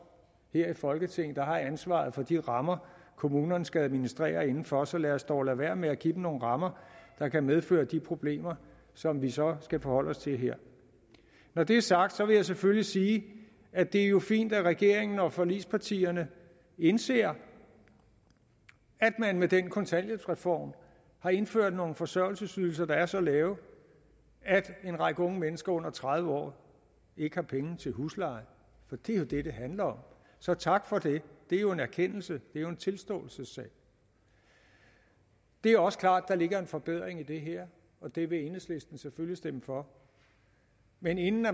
i folketinget der har ansvaret for de rammer kommunerne skal administrere inden for så lad os dog lade være med at give dem nogle rammer der kan medføre de problemer som vi så skal forholde os til her når det er sagt vil jeg selvfølgelig sige at det jo er fint at regeringen og forligspartierne indser at man med den kontanthjælpsreform har indført nogle forsørgelsesydelser der er så lave at en række unge mennesker under tredive år ikke har penge til huslejen det er jo det det handler om så tak for det det er jo en erkendelse det er jo en tilståelsessag det er også klart at der ligger en forbedring i det her og det vil enhedslisten selvfølgelig stemme for men inden